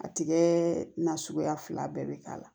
A tigɛ na suguya fila bɛɛ bɛ k'a la